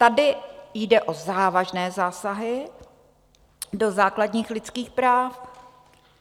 Tady jde o závažné zásahy do základních lidských práv.